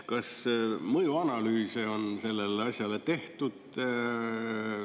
Kas mõjuanalüüse on sellele asjale tehtud?